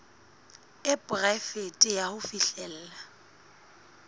e poraefete ya ho fihlella